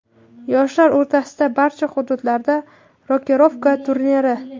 yoshlar o‘rtasida barcha hududlarda "Rokirovka" turniri;.